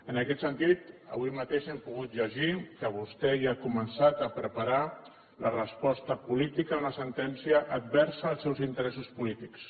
en aquest sentit avui mateix hem pogut llegir que vostè ja ha començat a preparar la resposta política a una sentència adversa als seus interessos polítics